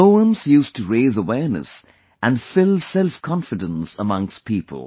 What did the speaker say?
Her poems used to raise awareness and fill selfconfidence amongst people